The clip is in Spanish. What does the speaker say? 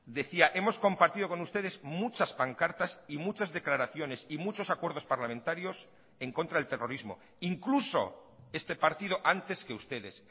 decía hemos compartido con ustedes muchas pancartas y muchas declaraciones y muchos acuerdos parlamentarios en contra del terrorismo incluso este partido antes que ustedes